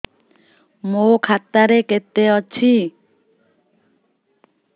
ମୋ ଖାତା ରେ କେତେ ଅଛି